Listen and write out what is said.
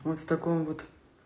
вот в таком вот